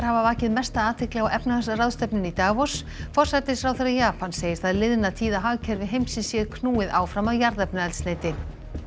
hafa vakið mesta athygli á efnahagsráðstefnunni í Davos forsætisráðherra Japans segir það liðna tíð að hagkerfi heimsins sé knúið áfram af jarðefnaeldsneyti